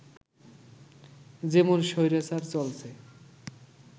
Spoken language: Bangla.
যেমন স্বৈরাচার চলছে